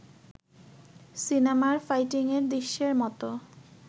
সিনেমার ফাইটিংয়ের দৃশ্যের মতো